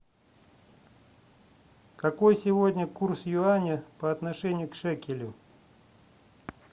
какой сегодня курс юаня по отношению к шекелю